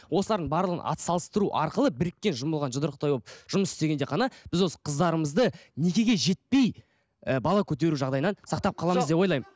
осылардың барлығын ат салыстыру арқылы біріккен жұмылған жұдырықтай болып жұмыс істегенде ғана біз осы қыздарымызды некеге жетпей і бала көтеру жағдайынан сақтап қаламыз деп ойлаймын